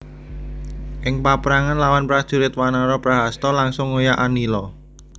Ing paprangan lawan prajurit wanara Prahasta langsung ngoyak Anila